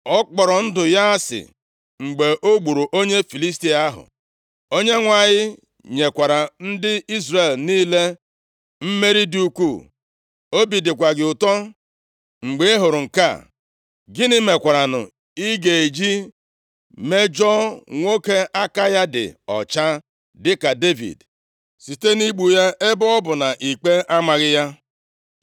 Ọ kpọrọ ndụ ya asị mgbe o gburu onye Filistia ahụ. Onyenwe anyị nyekwara ndị Izrel niile mmeri dị ukwuu. Obi dịkwa gị ụtọ mgbe ị hụrụ nke a. Gịnị mekwaranụ i ga-eji mejọọ nwoke aka ya dị ọcha dịka Devid, site nʼigbu ya ebe ọ bụ na ikpe amaghị + 19:5 Maọbụ, na e nweghị ihe o mere ya?”